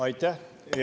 Aitäh!